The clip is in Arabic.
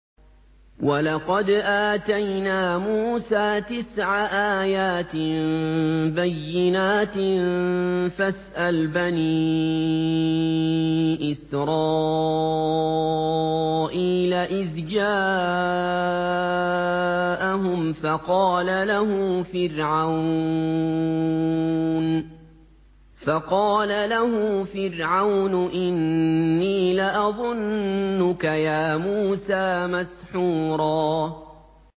وَلَقَدْ آتَيْنَا مُوسَىٰ تِسْعَ آيَاتٍ بَيِّنَاتٍ ۖ فَاسْأَلْ بَنِي إِسْرَائِيلَ إِذْ جَاءَهُمْ فَقَالَ لَهُ فِرْعَوْنُ إِنِّي لَأَظُنُّكَ يَا مُوسَىٰ مَسْحُورًا